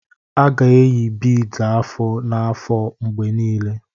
A ga-eyi beads afọ na afọ mgbe niile.